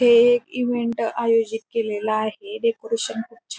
हे एक इव्हेंट आयोजित केलेल आहे डेकोरेशन खूप छा --